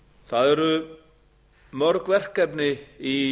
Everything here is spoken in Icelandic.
það eru mörg verkefni í